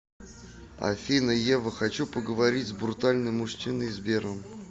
афина ева хочу поговорить с брутальным мужчиной сбером